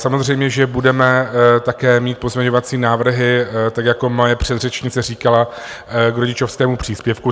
Samozřejmě že budeme také mít pozměňovací návrhy, tak jako moje předřečnice říkala, k rodičovskému příspěvku.